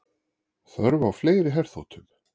Þörf á fleiri herþotum